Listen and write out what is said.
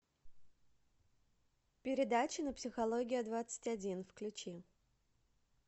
передача на психология двадцать один включи